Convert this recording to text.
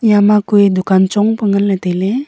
yama kue dukan chong pe nganle taile.